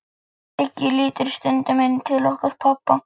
Siggi lítur stundum inn til okkar pabba.